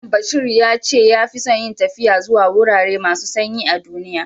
Mallam Bashir ya ce ya fi son yin taffiya zuwa wurare masu sanyi a'dunniya.